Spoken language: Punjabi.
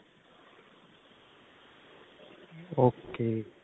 ok